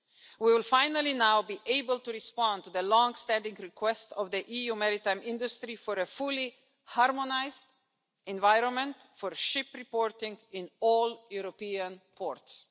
We will finally now be able to respond to the long standing request of the EU maritime industry for a fully harmonised environment for ship reporting in all European ports.